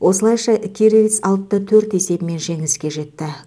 осылайша кировец алты да төрт есебімен жеңіске жетті